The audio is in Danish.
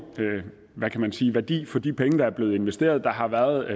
hvad kan man sige værdi for de penge der blev investeret der har været